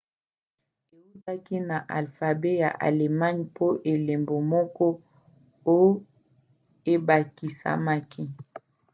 eutaki na alfabe ya allemagne pe elembo moko õ/õ ebakisamaki